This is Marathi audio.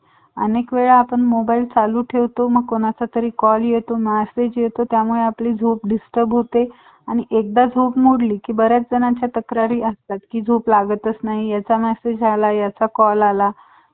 अनेक वेळा मोबाईल आपण चालू ठेवतो कोणाचातरी call येतो massge येतो त्यामुळे आपली झोप disturb होते आणि एकदा झोप मोडली कि बऱ्याच तक्रारी असतात की झोप लागत नाही ह्याचा masage आला ह्याचा call आला